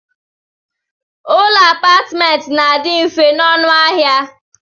Ụlọ apatment na adi mfe na ọnụ ahia.